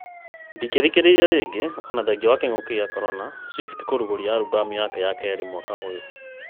Ndũngĩthikĩrĩria rĩngĩ Ona thengia wa king’ũki gĩa korona, Swift kũrugũria albam ya keerĩ mwaka ũyũ